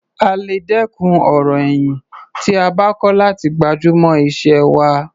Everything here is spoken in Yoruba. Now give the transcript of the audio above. A lè dẹ́kun ọ̀rọ̀ ẹ̀yìn tí a bá kọ́ láti gbájúmọ́ iṣẹ́ wa.